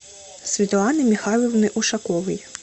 светланой михайловной ушаковой